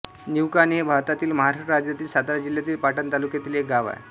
निवकाणे हे भारतातील महाराष्ट्र राज्यातील सातारा जिल्ह्यातील पाटण तालुक्यातील एक गाव आहे